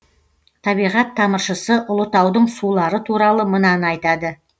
табиғат тамыршысы ұлытаудың сулары туралы мынаны айтады